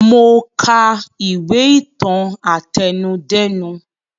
Mo ka ìwé ìtàn àtẹnudẹ́nu